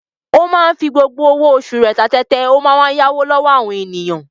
Ó máa ń fi gbogbo owó oṣù rẹ̀ ta tẹ́tẹ́, a wá máa yáwó lọ́wọ́ àwọn ènìyàn.